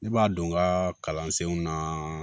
Ne b'a don n ka kalansenw na